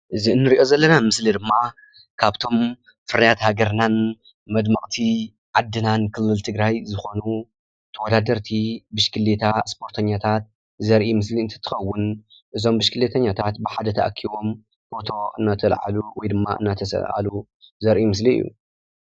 እዚ እንሪኦ ዘለና ምስሊ ድማ ካብቶም ፍርያት ሃገርናን መድመቕቲ ዓድናን ክልል ትግራይ ዝኾኑ ተወዳደርቲ ብሽክሌታ ስፖርተኛታት ዘርኢ ምስሊ እንትኸውን እዞም ብሽክሌተኛታት ብሓደ ተኣኪቦም ፎቶ እናተላዕሉ ወይ ድማ እናተሳእሉ ዘርኢ ምስሊ እዩ፡፡